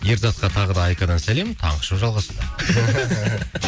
ерзатқа тағы да айкадан сәлем таңғы шоу жалғастырады